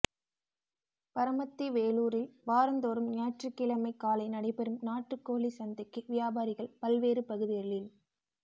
பரமத்தி வேலூரில் வாரந்தோறும் ஞாயிற்றுக்கிழமை காலை நடைபெறும் நாட்டுக்கோழி சந்தைக்கு வியாபாரிகள் பல்வேறு பகுதிகளில்